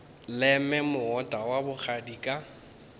leme moota wa bogadi ka